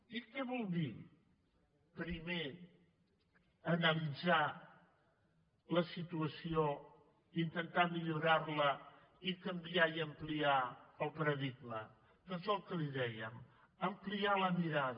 i què vol dir primer analitzar la situació intentar millorar la i canviar i ampliar el paradigma doncs el que li dèiem ampliar la mirada